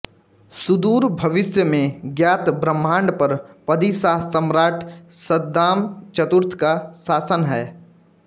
सुदूर भविष्य में ज्ञात ब्रह्मांड पर पदीशाह सम्राट शद्दाम चतुर्थ का शासन है